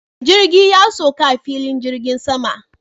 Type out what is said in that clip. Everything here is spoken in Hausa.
Jirgin ya sauka a filin jirgin saman